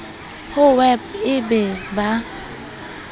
ho ewp e be ba